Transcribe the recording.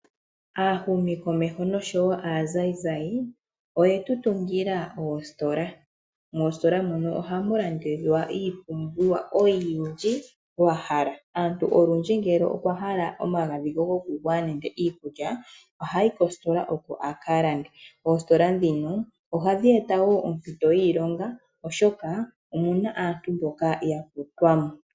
Aahumikomeho noshowo aanzayinzayi oyetu tungila oositola, moositola mono ohamu landithwa iipumbiwa oyindji wa hala. Aantu olundji, ngele okwa hala omagadhi ge goku gwaya nenge iikulya, ohayi kositola opo a ka lande. Oositola ndhino ohadhi e ta wo ompito yiilonga oshoka omuna aantu mboka ya kutwa mo.